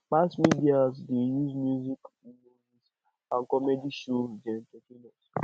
mass media dey use music and comedy shows dey entertain us